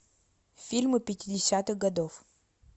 фильмы пятидесятых годов